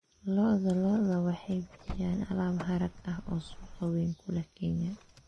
Lo'da lo'da waxay bixiyaan alaab harag ah oo suuq weyn ku leh Kenya.